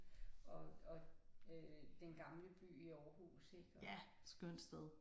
Og og øh den gamle by i Aarhus ik og